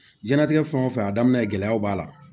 Jiyɛn latigɛ fɛn o fɛn a daminɛ gɛlɛyaw b'a la